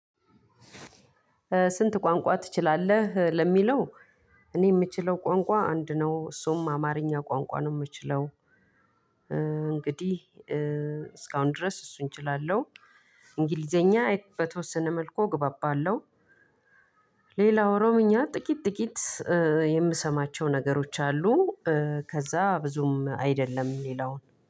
ስንት? ቋንቋ ትችላለህ ለሚለው እኔ የምችለው ቋንቋ አንድ ነው እሱም አማርኛ ቋንቋ ነው የምችለው። እንግዲህ እስካሁን ድረስ እሱን እችላለሁ። እንግሊዘኛ በተወሰነ መልኩ እግባባለሁ። ሌላ ኦሮሞኛ ጥቂት ጥቂት የምሰማቸው ነገሮች አሉ። ከዛ ብዙም አይደለም ሌላውን